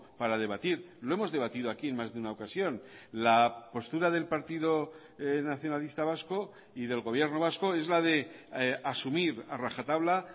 para debatir lo hemos debatido aquí en más de una ocasión la postura del partido nacionalista vasco y del gobierno vasco es la de asumir a rajatabla